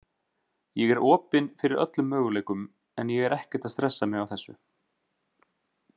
Ég er opinn fyrir öllum möguleikum en ég er ekkert að stressa mig á þessu.